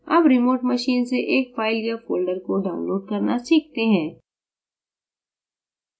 अब remote machine से एक फ़ाइल या folder को download करना सीखते हैं